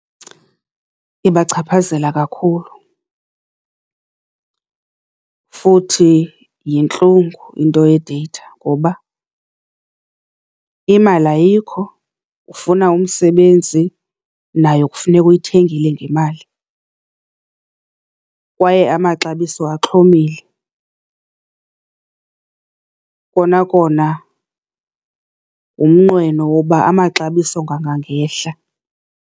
Ibachaphazela kakhulu futhi yintlungu into ye-data ngoba imali ayikho, ufuna umsebenzi, nayo kufuneka uyithengile ngemali, kwaye amaxabiso axhomile. Kona kona ngumnqweno woba amaxabiso angangehla.